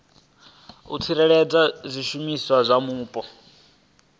u tsireledza zwishumiswa zwa mupo